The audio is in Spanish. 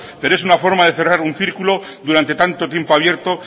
pero es una forma de cerrar un círculo durante tanto tiempo abierto